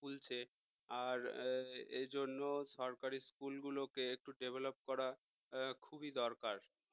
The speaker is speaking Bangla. খুলছে আর এ জন্য সরকারি school গুলোকে একটু develop করা খুবই দরকার।